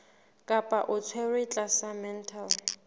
kapa o tshwerwe tlasa mental